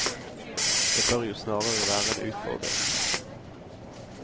Det bør jo snarere være en utfordring.